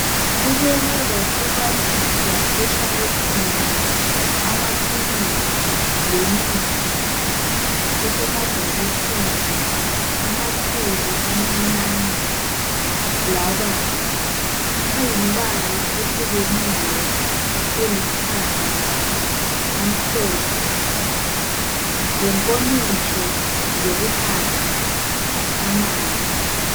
Kubekwe kwahlukaniswa eshalufini amaphilisi lemithi esemabhokisini amakhulu, amancane labanzi. Ayimbala ehlukeneyo elithanga, amhlophe lenkomitsho zokunatha amanzi.